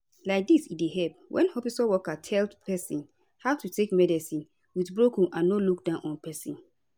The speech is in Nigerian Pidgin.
laidis e dey help wen hospitol workers tell sick pesin how to take medicine with broken and no look down on pesin